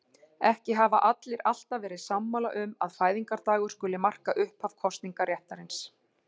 Ekki hafa allir alltaf verið sammála um að fæðingardagur skuli marka upphaf kosningaréttarins.